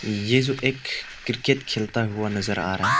ये जो एक क्रिकेट खेलता हुआ नजर आ रहा है।